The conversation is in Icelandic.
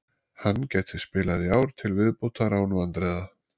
Hann gæti spilað í ár til viðbótar án vandræða.